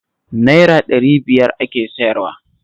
Naira ɗari biyar ake sayarwa